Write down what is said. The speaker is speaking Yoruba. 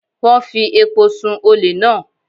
Wọ́n fi epo sun-ùn olè náà.